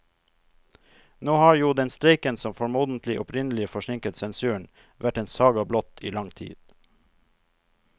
Nå har jo den streiken som formodentlig opprinnelig forsinket sensuren, vært en saga blott i lang tid.